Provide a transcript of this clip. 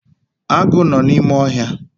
Agụ nọ n’ime ohia